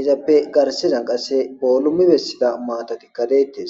izappe garsizan qasse boolumi bessida maatatikka deettes